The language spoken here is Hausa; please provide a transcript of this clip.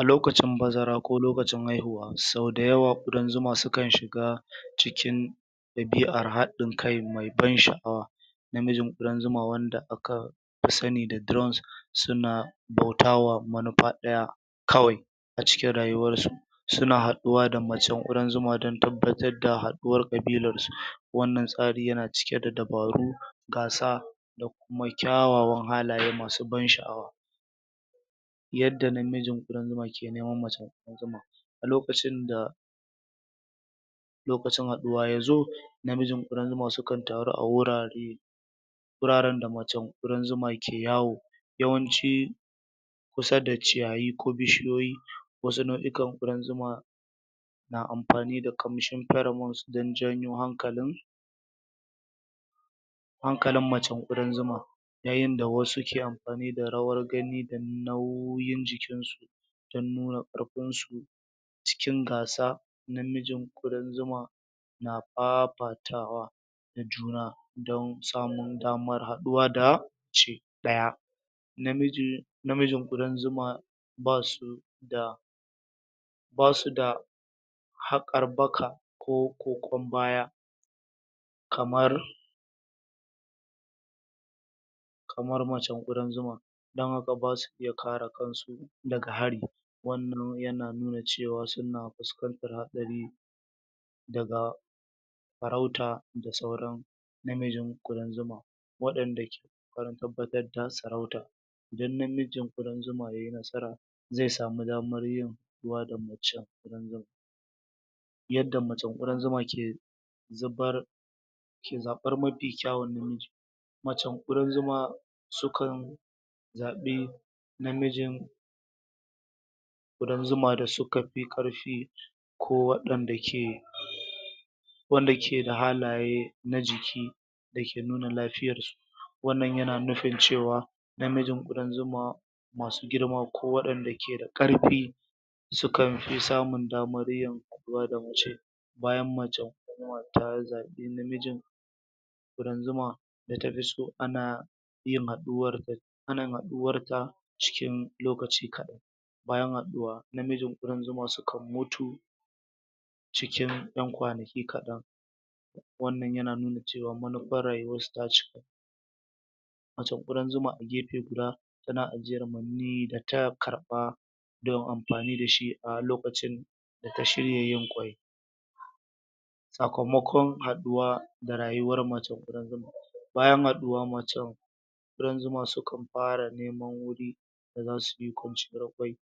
a lokacin bazara ko lokacin haihuwa sau da yawa ƙudan zuma sukan shiga cikin ɗabi'ar haɗin kai mai ban sha'awa namijin ƙudan zuma wanda aka fi sani da drones suna bautawa manufa ɗaya kawai a cikin rayuwarsu suna haɗuwa da macen ƙudan zuma don tabbatar da haɗuwar ƙabilarsu wannan tsari yana cike da dabaru gasa da kuma kyawawan halaye masu ban sha'awa yadda namijin ƙudan zuma ke neman macen ƙudan zuma a lokacin da lokacin haɗuwa ya zo namijin ƙudan zuma sukan taru a wurare wuraren da macen ƙudan zuma ke yawo yawanci kusa da ciyayi ko bishiyoyi wasu nau'ikan ƙudan zuma na amfani da commission feramon don janyo hankalin hankalin macen ƙudan zuma yayin da wasu ke amfani da rawar gani don nauyin jikinsu don nuna ƙarfinsu cikin gasa namijin ƙudan zuma na fafatwa da juna don samun damar haɗuwa da shi ɗaya namiji namijin ƙudan zuma basu da basu da haƙar baka ko ƙoƙon baya kamar kamar macen ƙudan zuma don haka basu iya kare kansu daga hari wannan yana nuna cewa suna fuskantar haɗari daga daga farauta da sauran namijin ƙudan zuma waɗanda ke ƙoƙarin tabbatar da sarauta idan namijin ƙudan zuma yai nasara zai samu damar yin haɗuwa da macen ƙudan zuma yadda macen ƙudan zuma ke zubar ke zaɓar mafi kyawun namiji macen ƙudan zuma sukan zaɓi namijin ƙudan zuma da suka fi ƙarfi ko waɗanda ke wanda ke da halaye na jiki da ke nuna lafiyarsu wannan yana nufin cewa namijin ƙudan zuma masu girma ko waɗanda ke da ƙarfi sukan fi samun damar yin haɗuwa da mace bayan macen ta zaɓi namijin ƙudan zuma da tafi so yin haɗuwar da ƙanin haɗuwarta cikin lokaci kaɗan bayan haɗuwa namijin ƙudan zuma sukan mutu cikin ƴan kwanaki kaɗan wannan yana nuna cewa manufar rayuwarsu ta ca macen ƙudan zuma a gefe guda, tana ajiyar maniyyi da ta karɓa don amfani da shi a lokacin da ta shirya yin ƙwai sakamakon haɗuwa da rayuwar macen ƙudan zuma bayan haɗuwa macen ƙudan zuma sukan fara neman wuri da zasu yi kwanciyar ƙwai